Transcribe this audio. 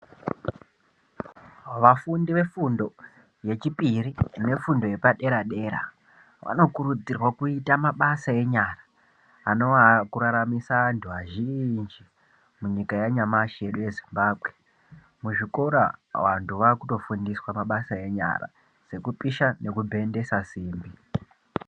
Vafundi vefundo yechipiri nefundo yepadera dera vanokurudzirwa kuita mabasa enyara anowa akuraramisa vantu vazhinji munyika yanyamashi yedu yeZimbabwe. Muzvikora vantu vakutofundiswa mabasa enyara sekupisha nekubhendesa simbi.